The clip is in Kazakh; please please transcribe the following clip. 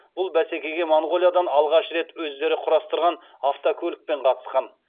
бұл бәсекеге моңғолиядан алғаш рет өздері құрастырған автокөлікпен қатысқан